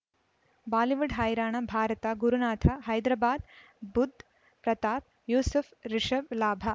Bollywood ಹೈರಾಣ ಭಾರತ ಗುರುನಾಥ ಹೈದರಾಬಾದ್ ಬುಧ್ ಪ್ರತಾಪ್ ಯೂಸುಫ್ ರಿಷಬ್ ಲಾಭ